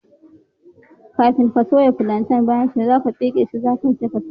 Kafin ka soya plantain, za ka pegge shi, ka yanka shi, sai ka sa a Man zafi.